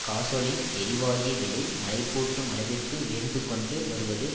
gasoline எரிவாயு விலை மலைப்பூட்டும் அளவிற்கு உயர்ந்துகொண்டு வருவது